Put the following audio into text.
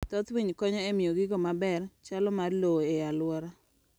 Thoth winy konyo e miyo gigo ma bero chalo mar lowo e aluora.